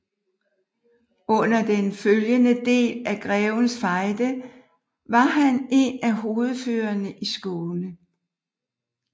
Under den følgende del af Grevens Fejde var han en af hovedførerne i Skåne